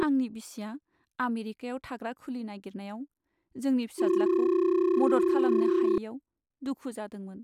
आंनि बिसिआ आमेरिकायाव थाग्रा खुलि नागिरनायाव जोंनि फिसाज्लाखौ मदद खालामनो हायैआव दुखु जादोंमोन।